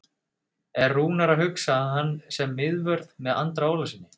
Er Rúnar að hugsa hann sem miðvörð með Andra Ólafssyni?